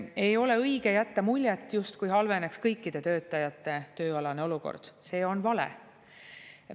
Ei ole õige jätta muljet, justkui halveneks kõikide töötajate tööalane olukord – see on vale.